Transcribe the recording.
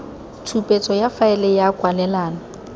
tshupetso ya faele ya kwalelano